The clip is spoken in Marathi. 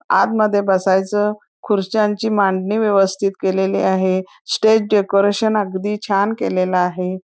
आतमध्ये बसायची खुर्च्यांची मांडणी व्यवस्तीत केलेली आहे स्टेज डेकॉरटीओं अगदी चॅन केलेलं आहे|